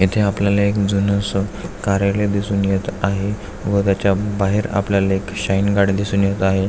येथे आपल्याला एक जुनस कार्यालय दिसून येत आहे व त्याच्या बाहेर आपल्याला एक शाईन गाडी दिसून येत आहे.